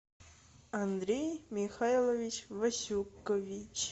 андрей михайлович васюкович